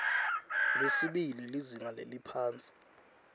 lwesibili lizinga leliphansi